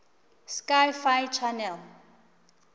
sci fi channel